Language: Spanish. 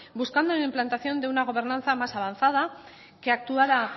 buscando la implantación de una gobernanza más avanzada que actuara